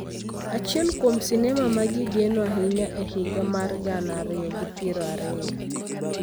Achiel kuom sinema ma ji geno ahinya e higa mar gana ariyo gi piero ariyo,